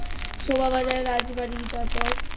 শোভাবাজার রাজবাড়ী তারপর